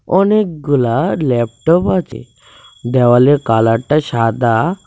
অনেকগুলা ল্যাপটপ আছে দেওয়ালের কালারটা সাদা।